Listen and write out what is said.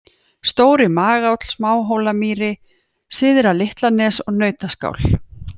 Stóri-Magáll, Smáhólamýri, Syðra-Litlanes, Nautaskál